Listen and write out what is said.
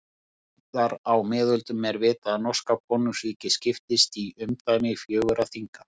En síðar á miðöldum er vitað að norska konungsríkið skiptist í umdæmi fjögurra þinga.